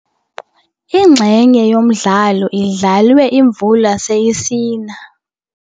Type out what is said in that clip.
Inxenye yomdlalo idlalwe imvula seyisina.